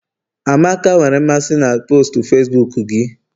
amaka nwere mmasị na postu Facibuku gị?